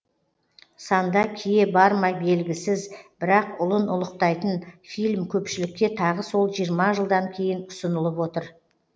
санда кие барма белгісіз бірақ ұлын ұлықтайтын фильм көпшілікке тағы сол жиырма жылдан кейін ұсынылып отыр